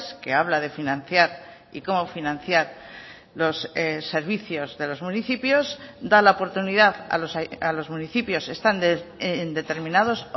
que habla de financiar y cómo financiar los servicios de los municipios da la oportunidad a los municipios están en determinados